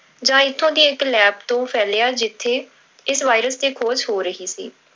ਜਾਂ ਇੱਥੋਂ ਦੀ ਇੱਕ lab ਤੋਂ ਫੈਲਿਆ ਜਿੱਥੇ ਇਸ virus ਤੇ ਖੋਜ ਹੋ ਰਹੀ ਸੀ।